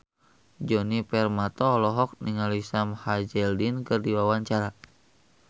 Djoni Permato olohok ningali Sam Hazeldine keur diwawancara